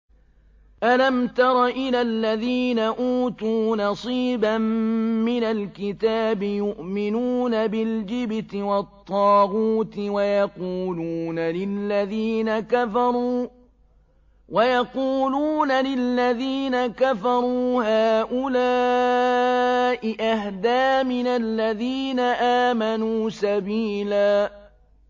أَلَمْ تَرَ إِلَى الَّذِينَ أُوتُوا نَصِيبًا مِّنَ الْكِتَابِ يُؤْمِنُونَ بِالْجِبْتِ وَالطَّاغُوتِ وَيَقُولُونَ لِلَّذِينَ كَفَرُوا هَٰؤُلَاءِ أَهْدَىٰ مِنَ الَّذِينَ آمَنُوا سَبِيلًا